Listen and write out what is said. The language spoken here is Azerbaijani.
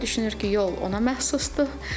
Piyada düşünür ki, yol ona məxsusdur.